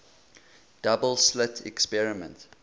double slit experiment